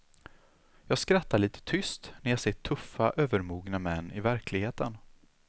Jag skrattar lite tyst när jag ser tuffa övermogna män i verkligheten.